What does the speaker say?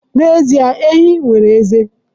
N'ezie, enyí nwere ezé